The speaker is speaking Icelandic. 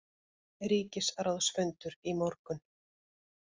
Ríkisráðsfundur í morgun